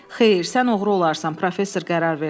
Xeyr, sən oğru olarsan, professor qərar verdi.